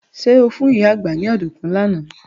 Ṣé o fún ìyá àgbá ní ọ̀dùnkún lánàá?